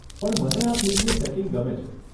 પણ મને આ ફિલ્મનું સેટિંગ ગમે છે.